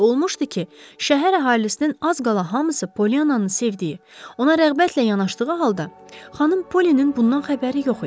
Necə olmuşdu ki, şəhər əhalisinin az qala hamısı Polyananı sevdiyi, ona rəğbətlə yanaşdığı halda xanım Polinin bundan xəbəri yox idi.